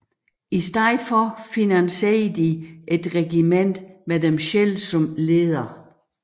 I stedet for finansierede de et regiment med dem selv som leder